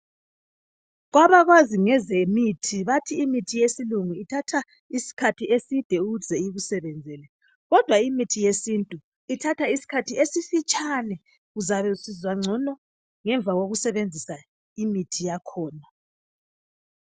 Kwabakwazi ngezemithi bathi imithi yesilungu ithatha isikhathi eside ukuze ikusebenzele, kodwa imithi yesintu ithatha isikhathi esifitshane uzabe usizwa ngcono ngemva kokusebenzisa imithi yakhona.